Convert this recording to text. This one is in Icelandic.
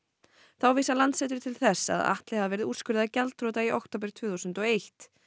þá vísar Landsréttur til þess að Atli hafi verið úrskurðaður gjaldþrota í október tvö þúsund og eitt